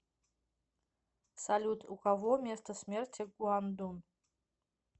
салют у кого место смерти гуандун